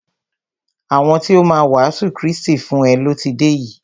Àwọn ti o má a wàásù Krístì fún e lọ ti dé yìí.